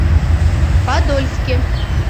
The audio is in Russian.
подольске